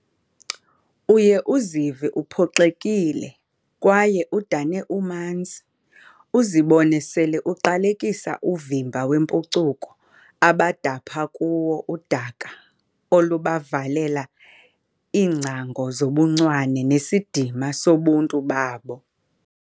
Uye uzive uphoxekile kwaye udane umanzi, uzibone sele uqalekisa uvimba wempucuko abadapha kuwo udaka olubavalela iingcango zobuncwane nesidima sobuntu babo.